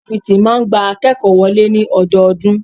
Ifáfitì máà ń gba akékòó wọlé ní ọdọọdún.